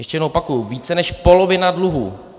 - Ještě jednou opakuji, více než polovina dluhů.